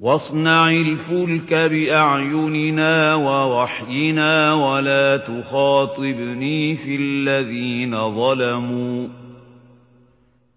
وَاصْنَعِ الْفُلْكَ بِأَعْيُنِنَا وَوَحْيِنَا وَلَا تُخَاطِبْنِي فِي الَّذِينَ ظَلَمُوا ۚ